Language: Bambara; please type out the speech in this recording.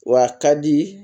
Wa a ka di